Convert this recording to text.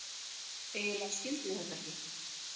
Eiginlega skildi ég þetta ekki.